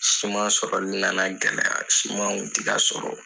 Siman sɔrɔli na na gɛlɛya siman kun tɛ ka sɔrɔ.